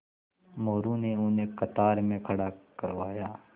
मोरू ने उन्हें कतार में खड़ा करवाया